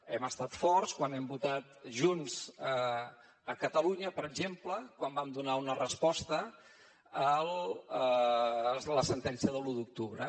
hem estat forts quan hem votat junts a catalunya per exemple quan vam donar una resposta a la sentència de l’u d’octubre